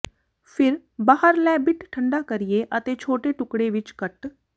ਫਿਰ ਬਾਹਰ ਲੈ ਬਿੱਟ ਠੰਡਾ ਕਰੀਏ ਅਤੇ ਛੋਟੇ ਟੁਕੜੇ ਵਿੱਚ ਕੱਟ